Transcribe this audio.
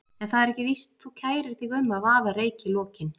En það er ekki víst þú kærir þig um að vaða reyk í lokin.